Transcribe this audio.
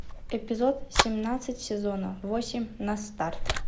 эпизод семнадцать сезона восемь на старт